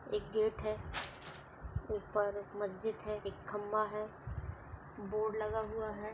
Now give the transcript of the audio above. एक गेट है ऊपर मस्जिद है एक खंभा है बोर्ड लगा हुआ है।